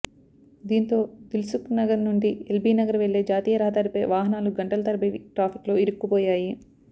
దీంతో దిల్సుఖ్నగర్ నుండి ఎల్బి నగర్ వెళ్లే జాతీయ రహదారిపై వాహనాలు గంటల తరబడి ట్రాఫిక్లో ఇరుక్కుపోయాయి